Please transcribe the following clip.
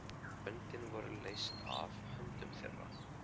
Böndin voru leyst af höndum þeirra.